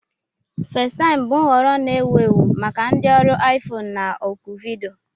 Fesitaim bụ nhọrọ na-ewu ewu maka ndị ọrụ iFone na oku vidiyo.